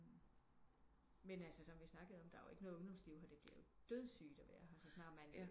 Men altså som vi snakkede om der er jo ikke nogen ungdomsliv her det bliver jo dødsygt at være her så snart man